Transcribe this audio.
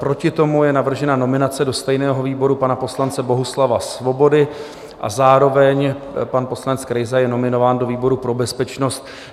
Proti tomu je navržena nominace do stejného výboru pana poslance Bohuslava Svobody a zároveň pan poslanec Krejza je nominován do výboru pro bezpečnost.